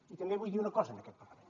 i també vull dir una cosa en aquest parlament